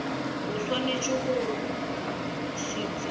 a swanetšego go se tseba